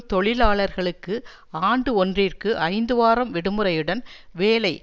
தொழிலாளர்களுக்கு ஆண்டு ஒன்றிற்கு ஐந்து வாரம் விடுமுறையுடன் வேலை